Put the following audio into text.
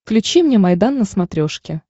включи мне майдан на смотрешке